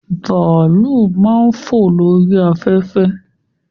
Bàálù máa ń fò lórí afẹ́fẹ́